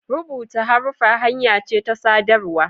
rubuta haruffa hanya ce ta sadarwa